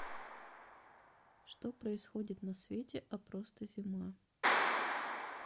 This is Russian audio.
что происходит на свете а просто зима